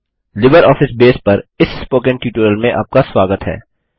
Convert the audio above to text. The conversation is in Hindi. लिबरऑफिस बेस पर इस स्पोकन ट्यूटोरियल में आपका स्वागत है